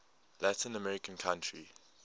latin american country